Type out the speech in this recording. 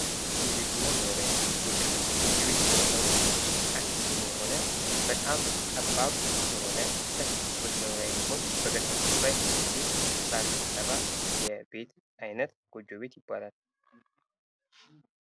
የቤትና መኖሪያ ቤት ጎጆ ቤት፤ ጎጆ ቤት በጣም አነስተኛ በጣም ጠባብ የሆነ ለጥቂት ሰዎች መኖርያ የሚሆን በገጠሩ አካባቢ የሚገኝ ከሳር የተሰራ የቤት ዓይነት ጎጆ ቤት ይባላል።